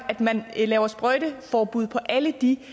at man laver sprøjteforbud i alle de